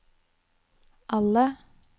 alle